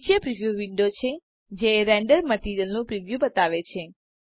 નીચે preview window છે જે રેન્ડરડ મટીરીઅલનું પ્રિવ્યુ બતાવે છે